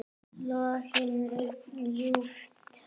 Lognið er ljúft.